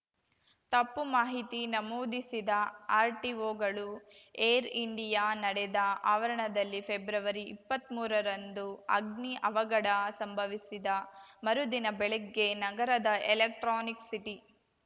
ತಪ್ಪು ಮಾಹಿತಿ ನಮೂದಿಸಿದ ಆರ್‌ಟಿಒಗಳು ಏರ್‌ ಇಂಡಿಯಾ ನಡೆದ ಆವರಣದಲ್ಲಿ ಫೆಬ್ರವರಿಇಪ್ಪತ್ಮೂರರಂದು ಅಗ್ನಿ ಅವಘಡ ಸಂಭವಿಸಿದ ಮರುದಿನ ಬೆಳಗ್ಗೆ ನಗರದ ಎಲೆಕ್ಟ್ರಾನಿಕ್‌ ಸಿಟಿ